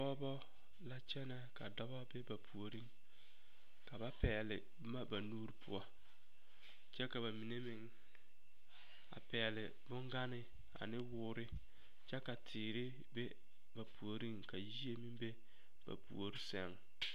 Pɔgeba la kyɛnɛ ka dɔba be ba puoriŋ ka ba pɛgle boma ba nuuri poɔ kyɛ ka ba mine meŋ a pɛgle bongane ane woore kyɛ ka teere be ba puoriŋ ka yie meŋ be ba puori seŋ.